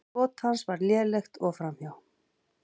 Skot hans var lélegt og framhjá.